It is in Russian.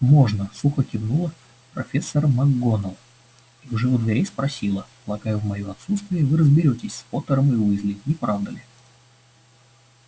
можно сухо кивнула профессор макгонагалл и уже у дверей спросила полагаю в моё отсутствие вы разберётесь с поттером и уизли не правда ли